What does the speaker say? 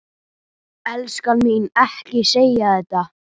Elskan mín, ekki segja þetta!